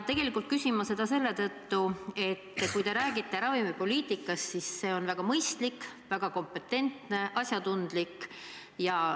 Tegelikult küsin ma seda selle tõttu, et kui te räägite ravimipoliitikast, siis see on väga mõistlik, väga kompetentne, asjatundlik.